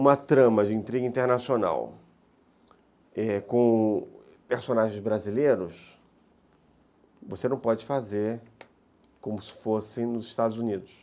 Uma trama de intriga internacional, é, com personagens brasileiros, você não pode fazer como se fosse nos Estados Unidos.